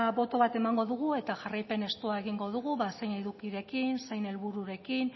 boto bat emango dugu eta jarraipen estua egingo dugu ba zein edukirekin zein helbururekin